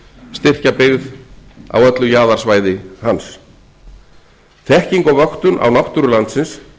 styrkja byggð á öllu jaðarsvæði hans þekking og vöktun á náttúru landsins